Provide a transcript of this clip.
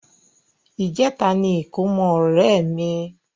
Ìjẹ́ta ní ìkómọ ọ̀rẹ́ mi.